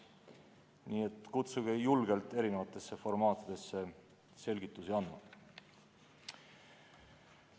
Nii et kutsuge mind julgelt eri formaatides selgitusi andma!